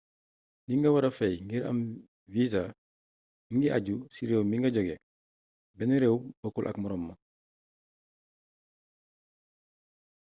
li nga wara fay ngir am visa mingi aju ci réew mi nga joge benn réew bokkul ak moroom ma